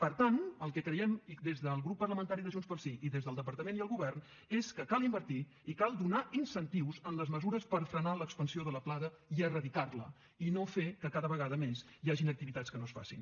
per tant el que creiem des del grup parlamentari de junts pel sí i des del departament i el govern és que cal invertir i cal donar incentius en les mesures per frenar l’expansió de la plaga i erradicar la i no fer que cada vegada més hi hagin activitats que no es facin